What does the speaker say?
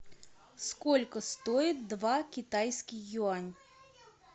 сколько стоит два китайский юань